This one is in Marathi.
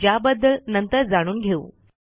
ज्याबद्दल नंतर जाणून घेऊ